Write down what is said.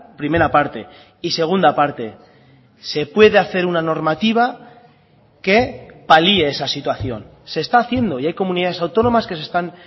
primera parte y segunda parte se puede hacer una normativa que palie esa situación se está haciendo y hay comunidades autónomas que se están